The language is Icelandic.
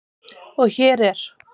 Og hér er